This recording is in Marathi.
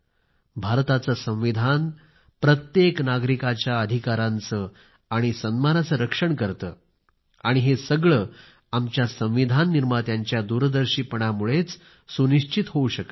भारताचे संविधान प्रत्येक नागरिकाच्या अधिकारांचे आणि सन्मानाचे रक्षण करते आणि हे सगळे आमच्या संविधान निर्मात्यांच्या दूरदर्शीपणा मुळेच सुनिश्चित होऊ शकले आहे